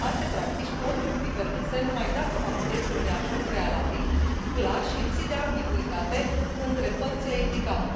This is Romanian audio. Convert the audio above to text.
Alte practici pot fi permise numai dacă fac obiectul unui acord prealabil, clar și lipsit de ambiguitate, între părțile implicate.